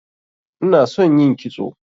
inason yin kitso